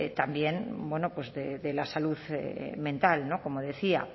también de la salud mental como decía